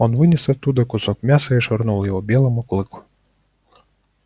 он вынес оттуда кусок мяса и швырнул его белому клыку